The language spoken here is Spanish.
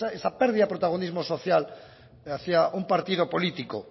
esa pérdida de protagonismo social ante un partido político